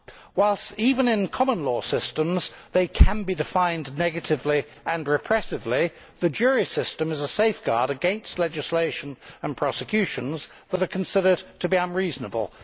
Whilst even in common law systems they can be defined negatively and repressively, the jury system is a safeguard against legislation and prosecutions that are considered to be unreasonable.